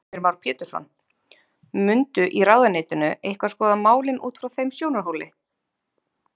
Heimir Már Pétursson: Mundu í ráðuneytinu eitthvað skoða málin út frá þeim sjónarhóli?